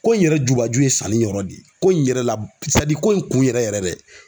Ko in yɛrɛ jubaju ye sanni yɔrɔ de ye ko in yɛrɛ la ko in kun yɛrɛ yɛrɛ